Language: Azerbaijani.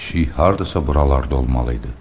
Pişik hardasa buralarda olmalı idi.